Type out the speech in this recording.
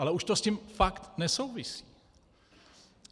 Ale už to s tím fakt nesouvisí.